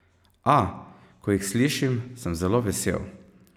A, ko jih slišim, sem zelo vesel.